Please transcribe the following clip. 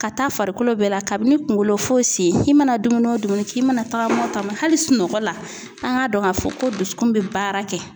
Ka taa farikolo bɛɛ la kabini kunkolo fɔ sen. I mana dumuni o dumuni kɛ, i mana tagama o tagama hali sunɔgɔ la an k'a dɔn k'a fɔ ko dusukun bɛ baara kɛ.